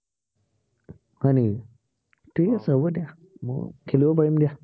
হয় নেকি। ঠিক আছে হব দিয়া, মই খেলিব পাৰিম দিয়া।